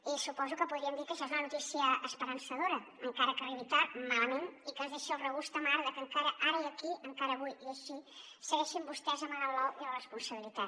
i suposo que podríem dir que això és una notícia esperançadora encara que arribi tard malament i que ens deixi el regust amarg de que encara ara i aquí encara avui i així segueixin vostès amagant l’ou i la responsabilitat